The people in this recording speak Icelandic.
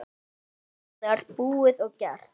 Það er búið og gert.